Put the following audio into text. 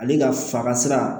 Ale ka fa ka sira